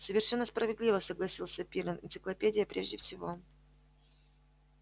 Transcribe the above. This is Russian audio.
совершенно справедливо согласился пиренн энциклопедия прежде всего